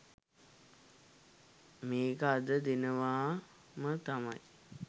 මේක අද දෙනවාම තමයි.